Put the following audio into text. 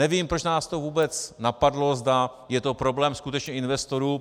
Nevím, proč nás to vůbec napadlo, zda je to problém skutečně investorů.